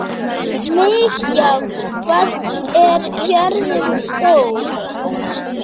Mikjáll, hvað er jörðin stór?